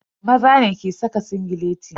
Maza ne ke saka singileti.